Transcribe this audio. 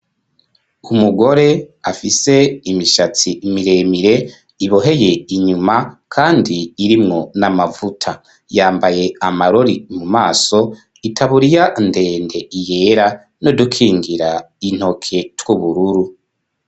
Umugore afise imishatsi miremire iboheye inyuma, kandi irimwo n'amavuta yambaye amarori mu maso itaburiya ndende iyera no dukingira intoke tw'ubururu.